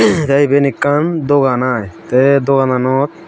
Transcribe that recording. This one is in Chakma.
te iben ekkan dogan i te dogananot.